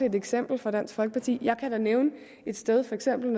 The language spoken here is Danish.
et eksempel fra dansk folkeparti og jeg kan da nævne et sted for eksempel